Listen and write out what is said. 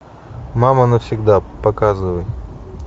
мама навсегда показывай